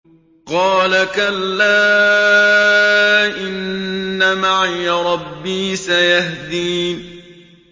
قَالَ كَلَّا ۖ إِنَّ مَعِيَ رَبِّي سَيَهْدِينِ